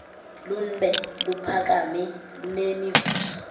lunbe luphakame kunemivuzo